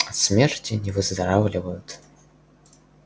от смерти не выздоравливают